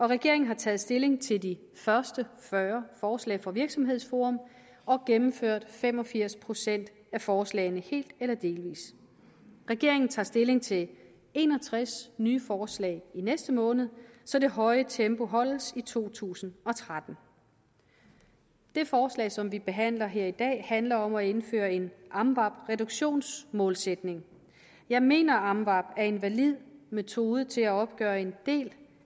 regeringen har taget stilling til de første fyrre forslag fra virksomhedsforum og gennemført fem og firs procent af forslagene helt eller delvis regeringen tager stilling til en og tres nye forslag i næste måned så det høje tempo holdes i to tusind og tretten det forslag som vi behandler her i dag handler om at indføre en amvab reduktionsmålsætning jeg mener at amvab er en valid metode til at opgøre en del